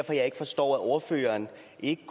ikke